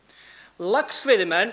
laxveiðimenn